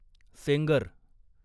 Sengar